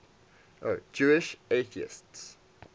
jewish atheists